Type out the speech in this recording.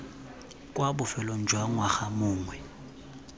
kwa bofelong jwa ngwaga mongwe